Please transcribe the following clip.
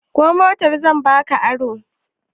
Ko motar zan ba ka aro?